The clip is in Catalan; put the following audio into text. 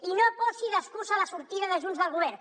i no posi d’excusa la sortida de junts del govern